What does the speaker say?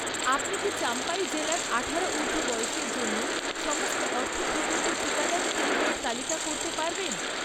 আপনি কি চাম্পাই জেলার আঠারো ঊর্ধ্ব বয়সের জন্য সমস্ত অর্থ প্রদত্ত টিকাদান কেন্দ্রের তালিকা করতে পারবেন?